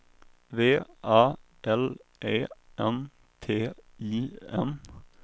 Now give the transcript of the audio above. V A L E N T I N